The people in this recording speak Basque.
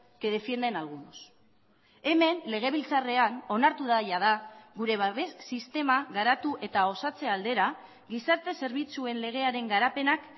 que defienden algunos hemen legebiltzarrean onartu da jada gure babes sistema garatu eta osatze aldera gizarte zerbitzuen legearen garapenak